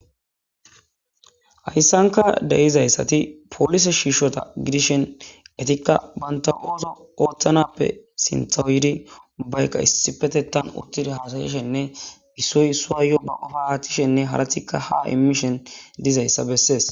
Haysanka de'izayt polise shishota gidishin etika banta oso othanappe sinthaw yidi ubayka issippetetan yidi uttidi hasayishenne issoy issara baqopa athishene ha immishene dizaysa beses